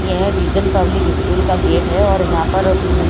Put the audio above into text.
यह Vision Public School का gate है और यहां पर हमम--